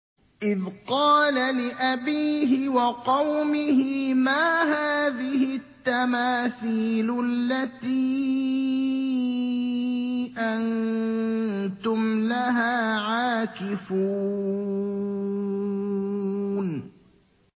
إِذْ قَالَ لِأَبِيهِ وَقَوْمِهِ مَا هَٰذِهِ التَّمَاثِيلُ الَّتِي أَنتُمْ لَهَا عَاكِفُونَ